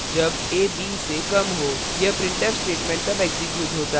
यह printf statement तब execute होता है जब उपर्युक्त condition true हो